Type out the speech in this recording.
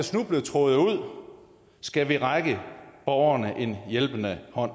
snubletråde ud skal vi række borgerne en hjælpende hånd